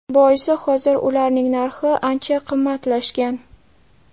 Boisi hozir ularning narxi ancha qimmatlashgan.